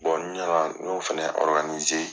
ɲina y'o fana